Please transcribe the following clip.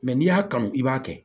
Mɛ n'i y'a kanu i b'a kɛ